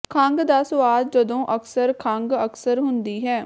ਖੰਘ ਦਾ ਸੁਆਦ ਜਦੋਂ ਅਕਸਰ ਖੰਘ ਅਕਸਰ ਹੁੰਦੀ ਹੈ